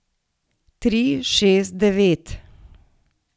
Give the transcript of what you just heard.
Tri, šest, devet.